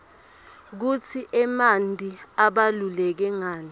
kutsi emanti abaluleke nqani